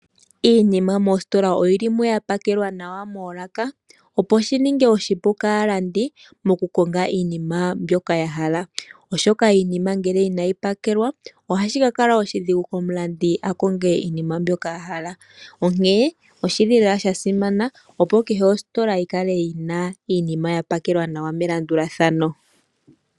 Iinima moostola oyili mo ya pakelwa nawa moolaka opo shi ninge oshipu kaalandi moku konga iinima mbyoka ya hala, oshoka iinima ngele inayi pakelwa ohashi ka kala oshidhigu komulandi a konge iinima mbyoka a hala, onkee oshili lela sha simana opo kehe ostola yi kale yina iinima ya pakelwa nawa melandulathano.